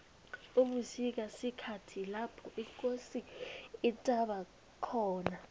ubusika sikhathi lapho ikosi ithaba khona